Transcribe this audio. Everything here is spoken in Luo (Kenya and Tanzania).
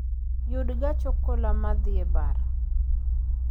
Yud gach okoloma dhi e bar